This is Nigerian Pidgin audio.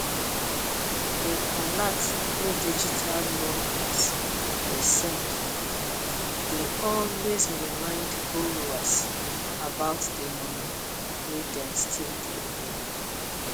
the alert wey digital loan apps dey send dey always remind borrowers about di money wey dem stlll dey owe